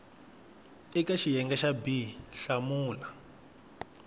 eka xiyenge xa b hlamula